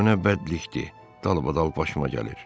Bu nə bədbəxtlikdir dalbadal başıma gəlir!